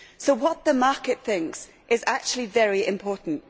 So what the market thinks is actually very important.